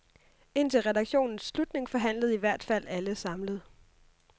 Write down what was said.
Indtil redaktionens slutning forhandlede i hvert fald alle samlet.